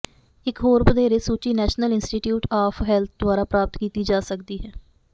ਇਕ ਹੋਰ ਵਧੇਰੇ ਸੂਚੀ ਨੈਸ਼ਨਲ ਇੰਸਟੀਚਿਊਟ ਆਫ ਹੈਲਥ ਦੁਆਰਾ ਪ੍ਰਾਪਤ ਕੀਤੀ ਜਾ ਸਕਦੀ ਹੈ